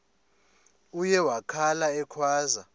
uye wakhala ekhwaza